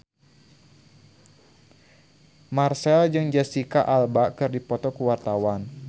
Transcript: Marchell jeung Jesicca Alba keur dipoto ku wartawan